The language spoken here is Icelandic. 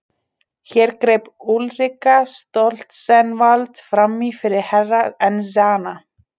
Hér greip Úlrika Stoltzenwald framí fyrir Herra Enzana.